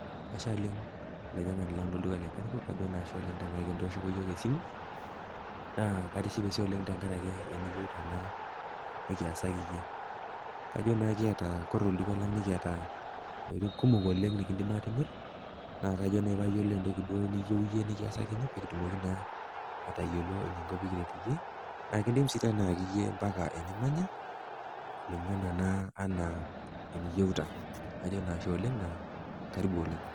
Ashe oleng olainyang'ani land lolduka le Carrefour, ajo ashe oleng tenkarake nitooshoko yook esimu, naa katishipe sii oleng tenkarake eneyeuta naa pee kiasaki iyie. Kajo naa kiata, ore tolduka lang nikiata intokitin kumok oleng nekindim atimirr, naa ajo nai payiolou entoki naai niyeu iyie nikiasakini pee kitumoki naa atayiolo pekitumoki naa ataret iyie , naa kindim sii ayaki iyie mpaka enimanya kulingana naa anaa eniyeuta. Ajo naa ashe oleng, naa karibu oleng.